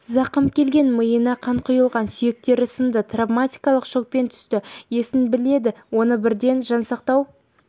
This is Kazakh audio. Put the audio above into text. зақым келген миына қан құйылған сүйектері сынды травматикалық шокпен түсті есін білмеді оны бірден жансақтау